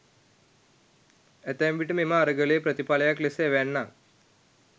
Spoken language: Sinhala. ඇතැම් විට මෙම අරගලයේ ප්‍රතිඵලයක් ලෙස එවැන්නක්